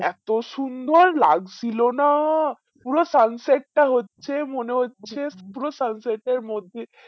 এতো সুন্দর লাগছিলো না পুরো sunset টা হচ্ছে মনে হচ্ছে পুরো sunset এর মধ্যে